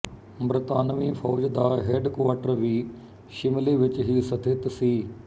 ਬਰਤਾਨਵੀ ਫ਼ੌਜ ਦਾ ਹੈੱਡਕੁਆਰਟਰ ਵੀ ਸ਼ਿਮਲੇ ਵਿੱਚ ਹੀ ਸਥਿਤ ਸੀ